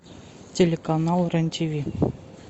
телеканал рен тв